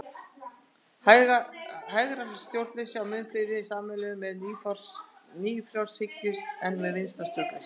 Hægra stjórnleysi á mun fleira sameiginlegt með nýfrjálshyggju en með vinstra stjórnleysi.